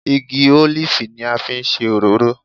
Igi ólífì ni a fi ń ṣe òróró